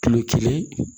Kilo kelen